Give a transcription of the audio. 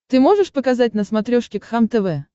ты можешь показать на смотрешке кхлм тв